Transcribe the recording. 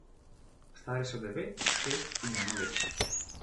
Stari so devet, šest in eno leto.